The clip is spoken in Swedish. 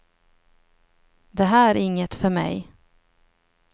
Det här är inget för mig.